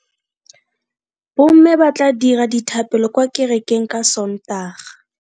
Bomme ba tla dira dithapelo kwa kerekeng ka Sontaga.